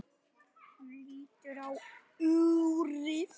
Hann lítur á úrið.